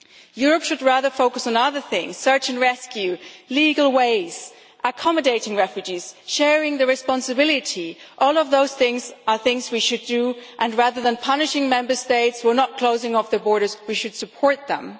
Europe should rather focus on other things search and rescue, legal ways, accommodating refugees, sharing the responsibility all of those things are things we should do, and, rather than punishing Member States who are not closing off their borders, we should support them.